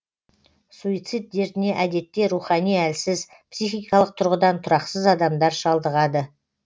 суицид дертіне әдетте рухани әлсіз психикалық тұрғыдан тұрақсыз адамдар шалдығады